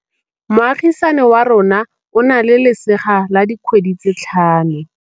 Moagisane wa rona o na le lesea la dikgwedi tse tlhano.